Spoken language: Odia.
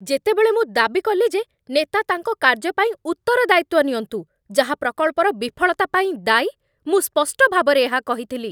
ଯେତେବେଳେ ମୁଁ ଦାବି କଲି ଯେ ନେତା ତାଙ୍କ କାର୍ଯ୍ୟ ପାଇଁ ଉତ୍ତରଦାୟିତ୍ୱ ନିଅନ୍ତୁ, ଯାହା ପ୍ରକଳ୍ପର ବିଫଳତା ପାଇଁ ଦାୟୀ, ମୁଁ ସ୍ପଷ୍ଟ ଭାବରେ ଏହା କହିଥିଲି